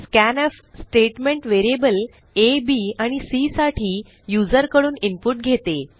scanf statement variable a b आणि cसाठी युजरकडून इनपुट घेते